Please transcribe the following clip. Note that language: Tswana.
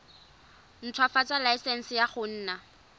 ntshwafatsa laesense ya go nna